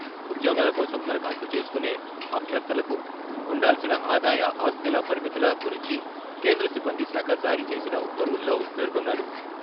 ఉద్యోగాల కోసం దరఖాస్తు చేసుకున్నే అభ్యర్థులకు ఉండాల్సిన ఆదాయ, ఆస్తుల పరిమితుల గురించి కేంద్ర సిబ్బందిశాఖ జారీ చేసిన ఉత్తర్వుల్లో పేర్కొన్నారు.